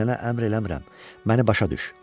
Sənə əmr eləmirəm, məni başa düş.